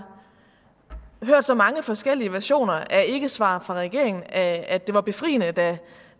hørt så mange forskellige versioner af ikkesvar fra regeringen at at det var befriende da